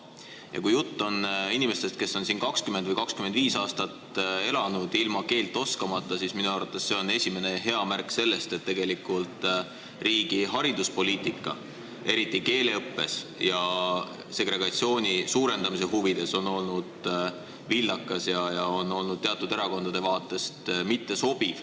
Ja kui jutt on inimestest, kes on siin 20 või 25 aastat elanud ilma keelt oskamata, siis minu arvates on see esimene märk sellest, et tegelikult riigi hariduspoliitika – eriti keeleõppe ja segregatsiooni suurendamise mõttes – on olnud vildakas ja teatud erakondade vaatest mittesobiv.